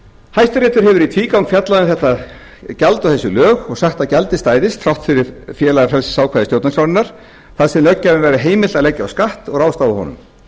hæstiréttur hefur í tvígang fjallað um þetta gjald og þessi lög og sagt að gjaldið stæðist þrátt fyrir félagafrelsisákvæði stjórnarskrárinnar þar sem löggjafanum væri heimilt að leggja á skatt og ráðstafa honum auk